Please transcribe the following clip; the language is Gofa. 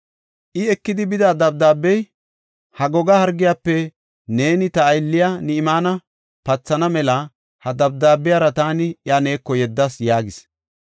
I, ekidi bida dabdaabey, “Ha goga hargiyafe neeni ta aylliya, Ni7imaane pathana mela ha dabdaabiyara taani iya neeko yeddas” yaagis.